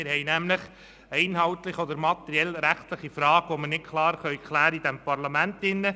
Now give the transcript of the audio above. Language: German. Wir haben nämlich eine inhaltliche oder materiell-rechtliche Frage, die wir in diesem Parlament nicht klären können.